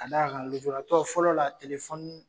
Ka da kan lujuratɔ fɔlɔ la